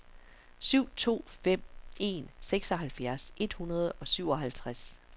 syv to fem en seksoghalvfjerds et hundrede og syvoghalvtreds